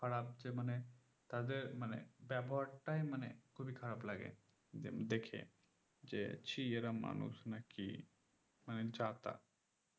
খারাপ যে মানে তাদের মানে ব্যবহারটাই মানে খুবই খারাপ লাগে যে দেখে যে ছিঃ এরা মানুষ না কি মানে যা তা